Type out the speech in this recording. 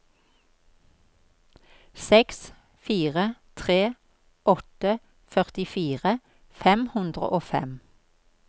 seks fire tre åtte førtifire fem hundre og fem